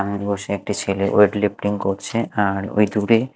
আর বসে একটি ছেলে ওয়েট লিফ্টিং করছে আর ওই দূরে--